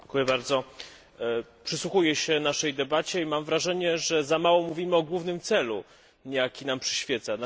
Panie przewodniczący! Przysłuchuję się naszej debacie i mam wrażenie, że za mało mówimy o głównym celu, jaki nam przyświeca.